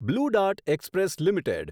blue dart express limited